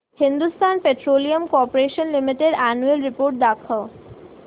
Hindustan petroleum corporation limited annual report दाखव